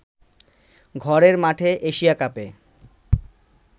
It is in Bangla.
ঘরের মাঠে এশিয়া কাপে